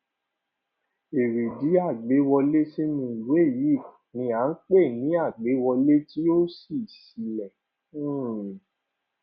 èrèdí àgbéwọlé sínú ìwé yìí ni à n pè ní àgbéwọlé tí ó ṣí sílè um